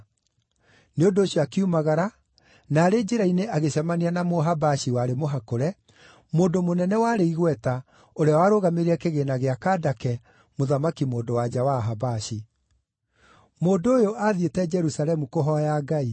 Nĩ ũndũ ũcio akiumagara, na arĩ njĩra-inĩ agĩcemania na Mũhabashi warĩ mũhakũre, mũndũ mũnene warĩ igweta ũrĩa warũgamĩrĩire kĩgĩĩna gĩa Kandake, mũthamaki-mũndũ-wa-nja wa Ahabashi. Mũndũ ũyũ aathiĩte Jerusalemu kũhooya Ngai;